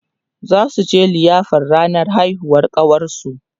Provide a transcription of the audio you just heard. zasuje liyafar ranar haihuwar ƙawarsu